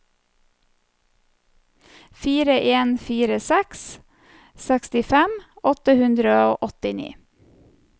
fire en fire seks sekstifem åtte hundre og åttini